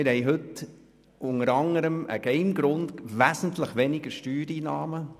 Wir haben heute unter anderem aus folgendem Grund weniger Steuereinnahmen: